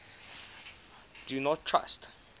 do not trust